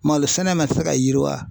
Malo sɛnɛ ma se ka yiriwa.